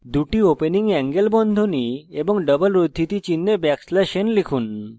দুটি opening angle বন্ধনী লিখুন এবং double উদ্ধৃতি চিনহে লিখুন \n